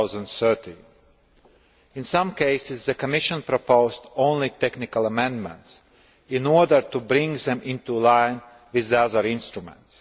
2013. In some cases, the Commission proposed only technical amendments in order to bring them into line with the other instruments.